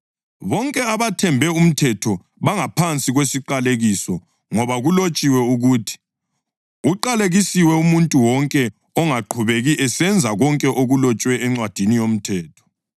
Bonke abathembe umthetho bangaphansi kwesiqalekiso ngoba kulotshiwe ukuthi: “Uqalekisiwe umuntu wonke ongaqhubeki esenza konke okulotshwe eNcwadini yoMthetho.” + 3.10 UDutheronomi 27.26